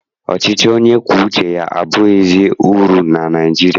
Ọchịchị onye kwue uche abaghịzi uru na Naịjirịa.